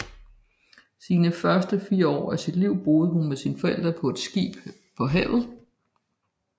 Sine første fire år af sit liv boede hun med sine forældre på et skib på havet